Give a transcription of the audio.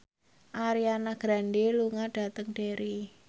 Ariana Grande lunga dhateng Derry